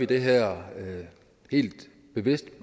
det her helt bevidst